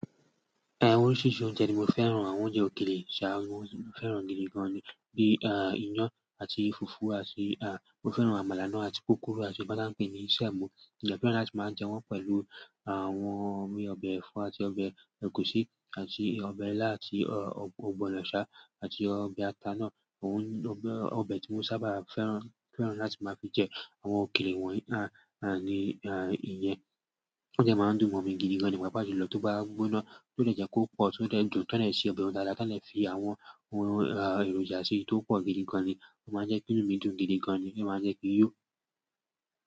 Oríṣiríṣi oúnjẹ ni mo fẹ́ràn, àwọn oúnjẹ òkèlè, ṣá mo fẹ́ràn gidi gan ni bi iyán àti fùfú àti, mo fẹ́ràn àmàlà náà àti púrupú àti sẹ̀mó. Mo dẹ̀ fẹ́ran láti màá jẹ wọ́n pẹ̀lú àwọn omi ọbẹ̀ ẹ̀fọ́ àti ọbẹ̀ ẹ̀gúsí àti ọbẹ̀ ilá àti ọ̀gbọ̀nọ̀ àti ọbẹ̀ ata náà. Òun ọbẹ̀ ọbẹ̀ tí mo sábà fẹ́ràn fẹ́ràn láti máa fi jẹ àwọn òkèlè wọ̀nyí ah ah ni ah ìyẹn. Ó dẹ̀ máa ń dùn mọ́ mí gidi gan ni pàápàá jùlọ tó bá gbóná tó lè jẹ́ kó pọ̀ tó dẹ̀ dùn tán dẹ̀ se ọbẹ̀ ń dáadáa tán dẹ̀ fi àwọn ohun èròjà síi tó pọ̀ gidi gan ni. Ó máa ń jẹ́ kí inú mí dùn gidi gan ni, ó máa ń jẹ́ kí n yó.